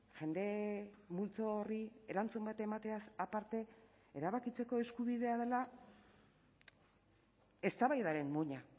jende multzo horri erantzun bat emateaz aparte erabakitzeko eskubidea dela eztabaidaren muina